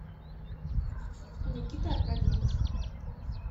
никита аркадьевич